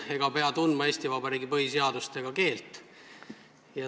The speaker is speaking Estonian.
Ei pea tundma Eesti Vabariigi põhiseadust ega oskama eesti keelt.